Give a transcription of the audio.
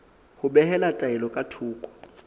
ho behela taelo ka thoko